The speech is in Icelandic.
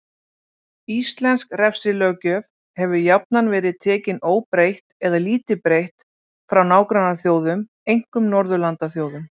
Íslensk refsilöggjöf hefur jafnan verið tekin óbreytt eða lítið breytt frá nágrannaþjóðum, einkum Norðurlandaþjóðum.